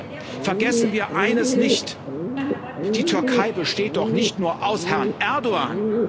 Aber bitte, vergessen wir eines nicht Die Türkei besteht doch nicht nur aus Herrn Erdoğan.